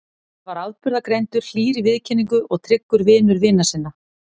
Hann var afburðagreindur, hlýr í viðkynningu og tryggur vinur vina sinna.